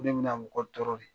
Ko ne mi na mɔgɔ tɔɔrɔ de.